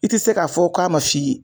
I te se k'a fɔ k'a ma f'i ye